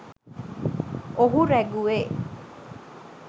ඔහු රැගුවෙ